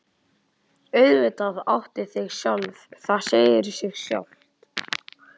Auðvitað áttu þig sjálf, það segir sig sjálft.